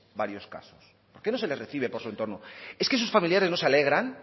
varios casos por qué no se les recibe por su entorno es que sus familiares no se alegran